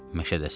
Məşədəsən.